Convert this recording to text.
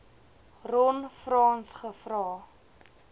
ron frans gevra